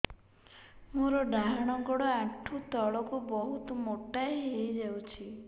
ମୋର ଡାହାଣ ଗୋଡ଼ ଆଣ୍ଠୁ ତଳକୁ ବହୁତ ମୋଟା ହେଇଯାଉଛି